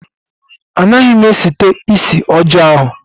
Anaghị m site isi ọjọọ ahụ